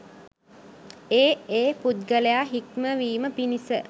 ඒ ඒ පුද්ගලයා හික්මවීම පිණිස